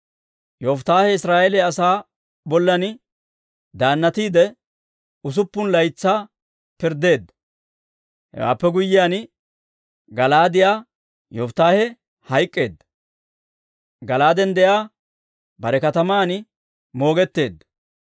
Yofittaahe Israa'eeliyaa asaa bollan daannatiide, usuppun laytsaa pirddeedda. Hewaappe guyyiyaan, Gala'aadiyaa Yofittaahe hayk'k'eedda; Gala'aaden de'iyaa bare kataman moogetteedda.